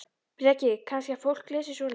Breki: Kannski að fólk lesi svoleiðis?